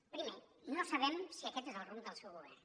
primer no sabem si aquest és el rumb del seu govern